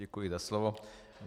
Děkuji za slovo.